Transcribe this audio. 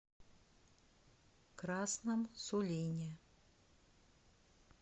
красном сулине